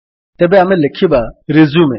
ତେବେ ଆମେ ଲେଖିବା ରିଜ୍ୟୁମ